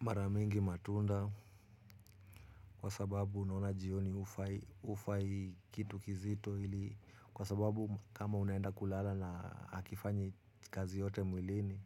Mara mingi matunda, kwa sababu unaona jioni hufai kitu kizito ili kwa sababu kama unaenda kulala na hakifanyi kazi yoyote mwilini,